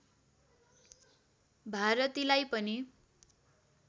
भारतीलाई पनि